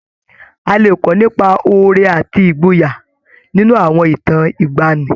A lè kọ́ nípa oore àti ìgboyà nínú àwọn ìtàn ìgbaanì.